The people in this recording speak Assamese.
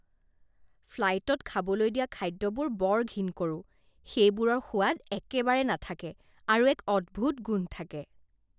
ফ্লাইটত খাবলৈ দিয়া খাদ্যবোৰ বৰ ঘিণ কৰোঁ। সেইবোৰৰ সোৱাদ একেবাৰে নাথাকে আৰু এক অদ্ভুত গোন্ধ থাকে।